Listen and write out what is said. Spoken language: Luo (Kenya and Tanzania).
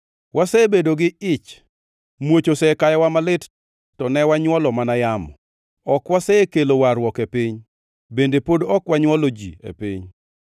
Wasebedo gi ich, muoch osekayowa malit to ne wanywolo mana yamo. Ok wasekelo warruok e piny, bende pod ok wanywolo ji e piny.